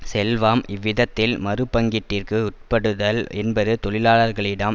செல்வம் இவ்விதத்தில் மறுபங்கீட்டிற்கு உட்படுதல் என்பது தொழிலாளர்களிடம்